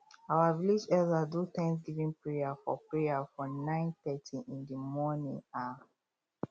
our village elders do thanskgiving prayer for prayer for nine thirty in di morning um